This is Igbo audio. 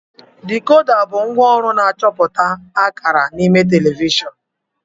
Dekoda bụ ngwaọrụ na-achọpụta akara n'ime telivishọn.